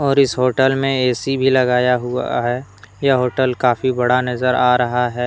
और इस होटल में ऐ_सी भी लगाया हुआ है यह होटल काफी बड़ा नजर आ रहा है।